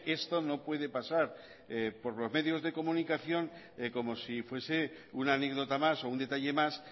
esto no puede pasar por los medio de comunión como si fuese una anécdota más o un detalle más